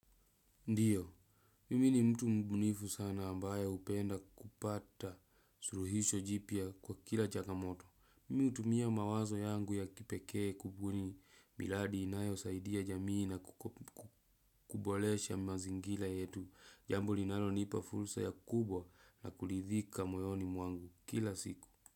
Ndiyo, mimi ni mtu mbunifu sana ambaye hupenda kupata suluhisho jipya kwa kila changa moto. Mimi hutumia mawazo yangu ya kipekee kubuni miradi inayosaidia jamii na kukubolesha mazingira yetu. Jambo linalo nipa fursa ya kubwa na kulidhika moyoni mwangu kila siku.